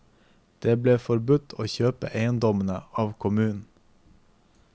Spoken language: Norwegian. De ble tilbudt å kjøpe eiendommene av kommunen.